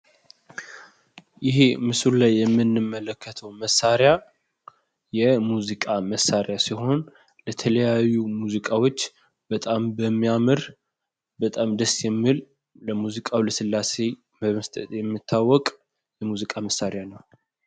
ይሄ ምስሉ ላይ የምንመለከተው መሳሪያ የሙዚቃ መሳሪያ ሲሆን ለተለያዩ ሙዚቃዎች በጣም በሚያምር ፣ በጣም ደስ በሚል ለሙዚቃው ለስላሴ በመስጠት የሚታወቅ የሙዚቃ መሳሪያ ነው።